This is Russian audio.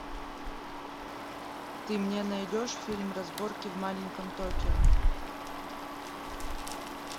ты мне найдешь фильм разборки в маленьком токио